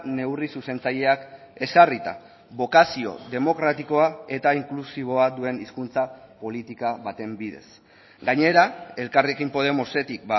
neurri zuzentzaileak ezarrita bokazio demokratikoa eta inklusiboa duen hizkuntza politika baten bidez gainera elkarrekin podemosetik